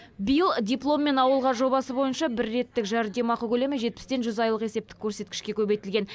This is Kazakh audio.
биыл дипломмен ауылға жобасы бойынша бір реттік жәрдемақы көлемі жетпістен жүз айлық есептік көрсеткішке көбейтілген